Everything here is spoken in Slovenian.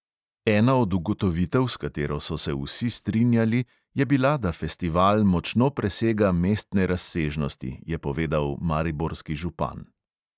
Ena od ugotovitev, s katero so se vsi strinjali, je bila, da festival močno presega mestne razsežnosti, je povedal mariborski župan.